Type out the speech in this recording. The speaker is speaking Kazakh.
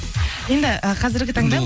енді ы қазіргі таңда